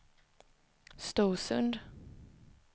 Storsund